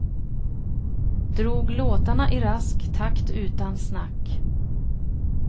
Drog låtarna i rask takt utan snack.